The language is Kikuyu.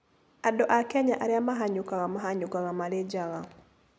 Andũ a Kenya arĩa mahanyũkaga mahanyũkaga marĩ njaga.